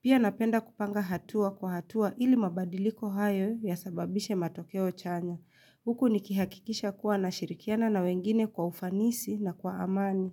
Pia napenda kupanga hatua kwa hatua ili mabadiliko hayo ya sababishe matokeo chanya. Huku nikihakikisha kuwa na shirikiana na wengine kwa ufanisi na kwa amani.